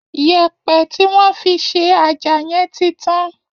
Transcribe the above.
Yẹ̀ẹ̀̀pẹ̀ tí wọ́n fi ṣe àjà yẹn ti tán